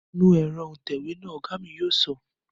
Nu ẹ̀rọ òǹtẹ̀wé náà, Ọ̀gá mi yóò sọ